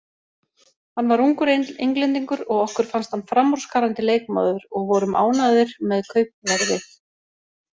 Hann var ungur Englendingur og okkur fannst hann framúrskarandi leikmaður og vorum ánægðir með kaupverðið.